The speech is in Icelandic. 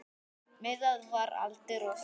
Miðað við aldur og svona.